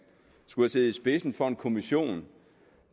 har siddet i spidsen for en kommission